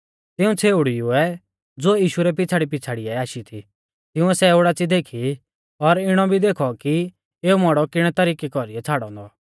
तिऊं छ़ेउड़ीउऐ ज़ो यीशु रै पिछ़ाड़ीपिछ़ाड़ीयै आशी थी तिंउऐ सै ओडाच़ी देखी और इणौ भी देखौ कि एऊ मौड़ौ किणै तरिकै कौरीऐ छ़ाड़ौ औन्दौ